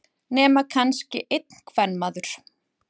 Nema kannski einn kvenmaður.